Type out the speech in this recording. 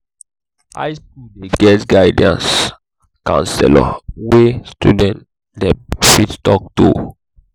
high skool dey get guidance counselor wey student dem fit talk to.